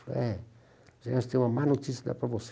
Falei, é, Ernesto, eu tenho uma má notícia para dar para você.